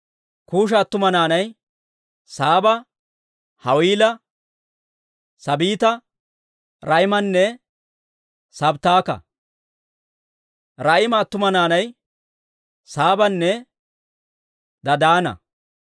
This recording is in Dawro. Kuusha attuma naanay Saaba, Hawiila, Saabita, Raa'imanne Sabttaka. Raa'ima attuma naanay Saabanne Dadaana.